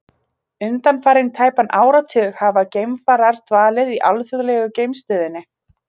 Undanfarinn tæpan áratug hafa geimfarar dvalið í alþjóðlegu geimstöðinni.